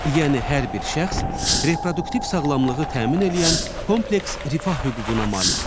Yəni hər bir şəxs reproduktiv sağlamlığı təmin eləyən kompleks rifah hüququna malikdir.